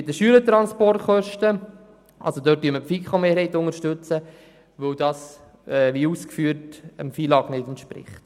Bei den Schülertransporten unterstützen wir den Abänderungsantrag 7 der FiKo-Mehrheit, weil die Massnahme, wie das bereits ausgeführt wurde, dem FILAG nicht entspricht.